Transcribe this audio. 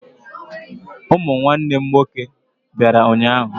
Ụmụ nwanne m nwoke bịara ụnyaahụ.